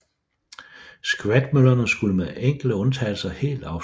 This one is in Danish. Skvatmøllerne skulle med enkelte undtagelser helt afskaffes